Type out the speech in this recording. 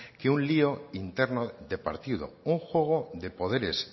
que un lio interno de partido un juego de poderes